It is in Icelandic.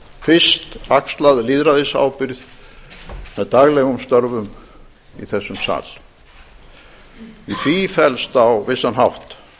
að auki fyrst axlað lýðræðisábyrgð með daglegum störfum í þessum sal í því felst á vissan hátt